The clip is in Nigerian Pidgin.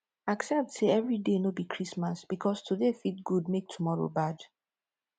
accept sey evri day no bi christmas bikos today fit gud mek tomoro bad